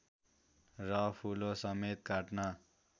र फूलो समेत काट्न